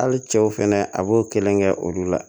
Hali cɛw fɛnɛ a b'o kelen kɛ olu la